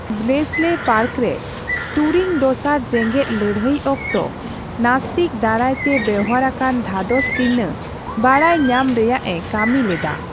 Bletchley park ᱨᱮ, Turing ᱫᱚᱥᱟᱨ ᱡᱮᱜᱮᱫ ᱞᱟᱹᱲᱦᱟᱹᱭ ᱚᱠᱛᱮ ᱱᱟᱛᱥᱤᱠᱚ ᱫᱟᱨᱟᱭᱛᱮ ᱵᱮᱣᱦᱟᱨ ᱟᱠᱟᱱ ᱫᱷᱟᱫᱚᱥ ᱪᱤᱱᱦᱟᱹ ᱵᱟᱰᱟᱭ ᱧᱟᱢ ᱨᱮᱭᱟᱜᱼᱮ ᱠᱟᱹᱢᱤ ᱞᱮᱫᱟ ᱾